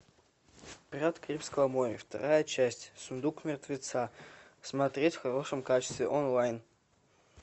пираты карибского моря вторая часть сундук мертвеца смотреть в хорошем качестве онлайн